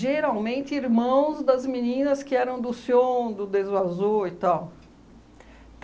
irmãos das meninas que eram do Sion, do Deso Azo e tal.